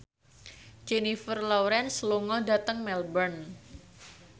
Jennifer Lawrence lunga dhateng Melbourne